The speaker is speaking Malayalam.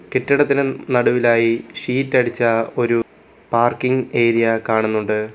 കെട്ടിടത്തിന് നടുവിലായി ഷീറ്റ് അടിച്ച ഒരു പാർക്കിംഗ് ഏരിയ കാണുന്നുണ്ട്.